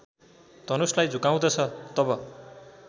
धनुषलाई झुकाउँदछ तब